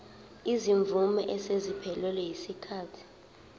izimvume eseziphelelwe yisikhathi